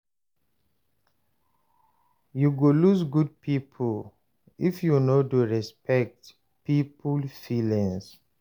You go lose good people if you no dey respect people feelings.